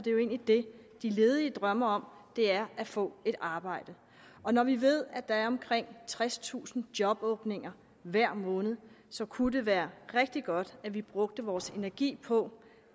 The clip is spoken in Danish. det de ledige egentlig drømmer om er at få et arbejde og når vi ved at der er omkring tredstusind jobåbninger hver måned så kunne det være rigtig godt hvis vi brugte vores energi på